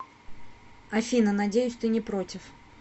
афина надеюсь ты не против